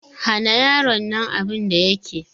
Hana yaron nan abin da yake!